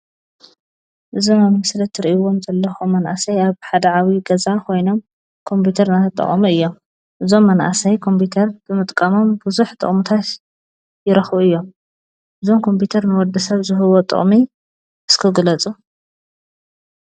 እዞም አብ ምስሊ ትሪእዎም ዘለኩም መናእሰይ አብ ሓደ ዓብይ ገዛ ኮይኖ ኮምፒውተር እናተጠቀሙ እዮም። እዞም መናእሰይ ኮምፒተር ብምጥቃሞም ብዙሕ ጥቅምታት ይረኽቡ እዮም። እዞም ኮምፒተር ንወድሰብ ዝህብዎ ጥቅሚ እስቲ ግለፁ?